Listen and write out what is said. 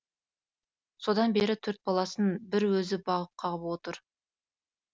содан бері төрт баласын бір өзі бағып қағып отыр